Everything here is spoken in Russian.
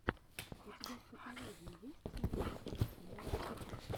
у тебя в каталоге есть лучшая часть амирана